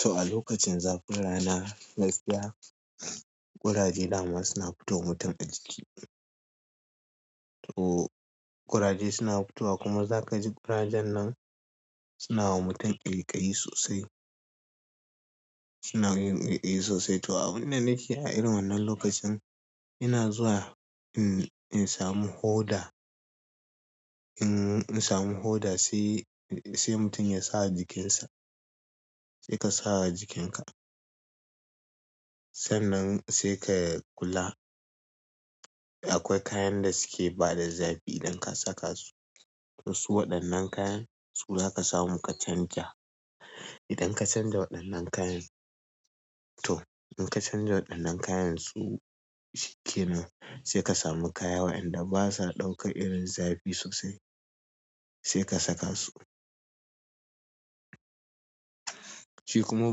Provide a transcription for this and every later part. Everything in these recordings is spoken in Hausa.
To a lokacin zafin rana gaskiya ƙuraje dama suna fito wa mutum a jiki. To ƙuraje suna futowa kuma za ka ji ƙurajen nan suna wa mutum ƙaiƙayi sosai. Suna yin ƙaiƙayi sosai. To a abinda nake a irin wannan lokacin ina zuwa in samu hoda, in samu hoda sai, sai mutum ya sawa jikinsa. Sai ka sawa jikinka. Sannan sai ka kula akwai kayan da suke bada zafi idan ka saka su. To su waɗannan kayan su za ka samu ka canja. Idan ka canja waɗannan kayan to idan ka canja waɗannan kayansu shikenan sai ka samu kaya waɗanda basa ɗaukan irin zafi sosai sai ka saka su. Shi kuma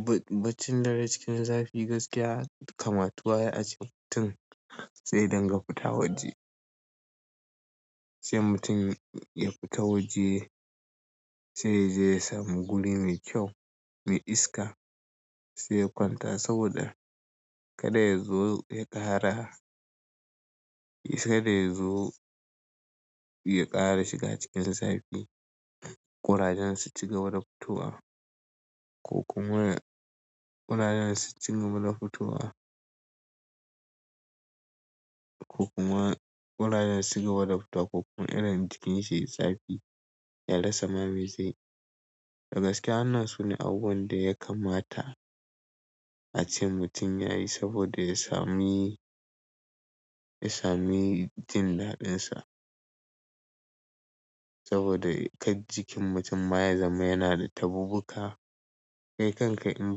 bac, bacin dare cikin zafi gaskiya kamatuwa yayi a ce mutum zai dinga fita waje. Sai mutum ya fita waje sai zai samu guri mai kyau, mai iska sai ya kwanta saboda kada ya zo ya ƙara, kada ya zo ya ƙara shiga cikin zafi. Ƙurajen su ci gaba da futowa. Ko kuma ƙurajen su ci gaba da futowa. Ko kuma ƙurajen su ci gaba da futowa ko kuma irin jikin shi yayi zafi ya rasa me zai dagaske wannan sune abubuwan da ya kammata a ce mutum yayi saboda ya sami, ya sami jin daɗinsa. Saboda kar jikin mutum baya zama yana da tabubuka. Kai kanka in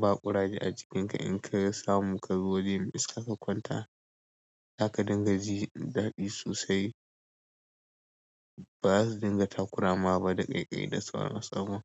ba ƙuraje a jikinka in ka samu ka zo waje mai iska ka kwanta za ka dinga ji daɗi sosai. Ba za su dinga takurama ba da ƙaiƙayi da sauran sama.